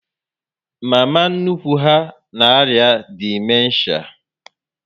Mama nnukwu ha na arịa dimenshia